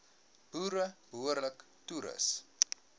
boere behoorlik toerus